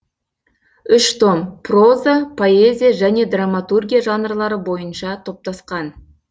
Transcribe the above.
үш том проза поэзия және драматургия жанрлары бойынша топтасқан